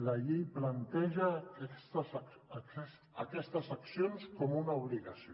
la llei planteja aquestes accions com una obligació